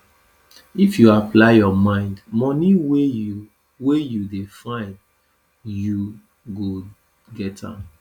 if you apply your mind money wey you wey you dey find you go get am